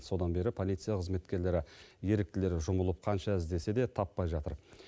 содан бері полиция қызметкерлері еріктілері жұмылып қанша іздесе де таппай жатыр